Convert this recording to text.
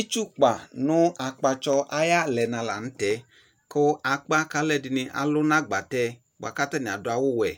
Itsukpa no akpatsɔ aye alɛna lantɛ ko akpa ko alɛde ne alu no agbatɛ boa ko atane ado awuwɛ